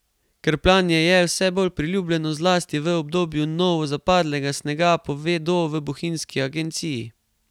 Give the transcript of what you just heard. Krpljanje je vse bolj priljubljeno, zlasti v obdobju novozapadlega snega, povedo v bohinjski agenciji.